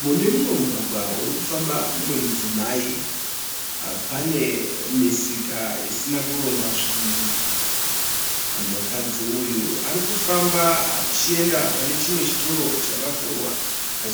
Mune mumwe mugwagwa uri kufamba mumwe mudzimai. Pane misika isina kurongwa zvinhu. Mukadzi uyu ari kufamba achienda pane chimwe chitoro chakavhurwa